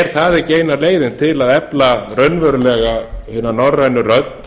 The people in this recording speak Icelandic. er það ekki eina leiðin til að efla raunverulega hina norrænu rödd